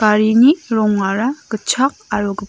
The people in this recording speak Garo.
garini rongara gitchak aro gip--